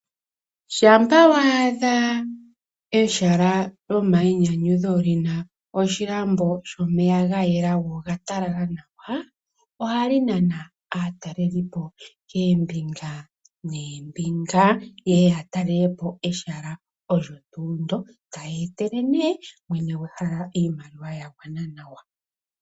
Shampa wa adha ehala lyomayinyanyudho li na okandombe kokuyoga ke na omeya ga yela go oga talala nawa, ohali nana aatalelipo okuza koombinga noombinga ye ye ya talele po ehala ndyoka, taya etele nduno mwene gwehala iimaliwa ya gwana nawa.